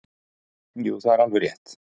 Jú það er alveg rétt.